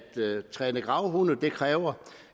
træne gravhunde kræver